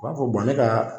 U b'a fɔ ne ka